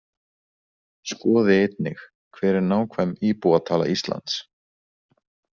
Skoði einnig: Hver er nákvæm íbúatala Íslands?